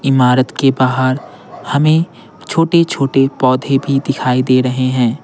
इमारत के बाहर हमें छोटे-छोटे पौधे भी दिखाई दे रहे हैं।